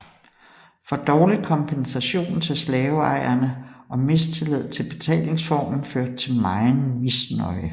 For dårlig kompensation til slaveejerne og mistillid til betalingsformen førte til megen misnøje